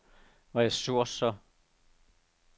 ressourcer